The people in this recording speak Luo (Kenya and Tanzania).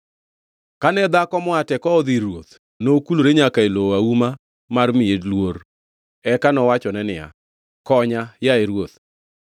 Kane dhako moa Tekoa odhi ir ruoth, nokulore nyaka e lowo auma mar miye luor, eka nowachone niya, “Konya, yaye ruoth!”